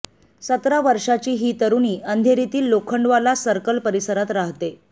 सतरा वर्षांची ही तरुणी अंधेरीतील लोखंडवाला सर्कल परिसरात राहते